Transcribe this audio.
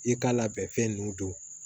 I k'a labɛn fɛn nunnu don